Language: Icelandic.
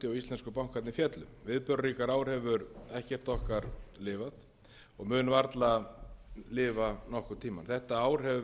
íslensku bankarnir féllu viðburðaríkara ár hefur ekkert okkar lifað og mun varla lifa nokkurn tíma þetta ár hefur verið ár